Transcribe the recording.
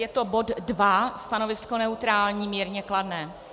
Je to bod 2, stanovisko neutrální, mírně kladné.